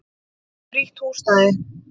Frítt húsnæði.